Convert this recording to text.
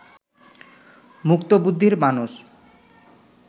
মুক্তবুদ্ধির মানুষ